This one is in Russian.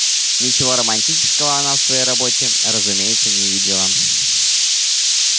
ничего романтического она в своей работе разумеется не видела